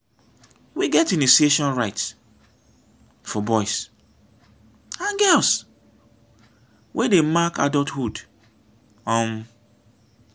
we get initiation rites for boys and girls wey dey mark adulthood. um